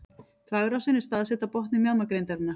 Þvagrásin er staðsett á botni mjaðmagrindarinnar.